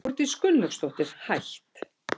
Þórdís Gunnlaugsdóttir, hætt